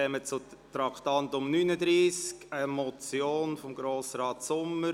Unter dem Traktandum 39 behandeln wir eine Motion von Grossrat Sommer: